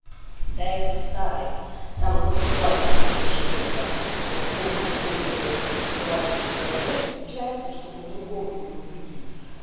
да это старая там ну вот два когда священника полностью уверены в правоте своей веры встречаются чтобы другого переубедить